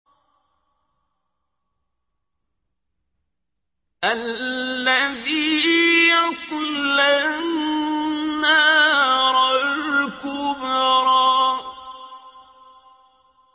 الَّذِي يَصْلَى النَّارَ الْكُبْرَىٰ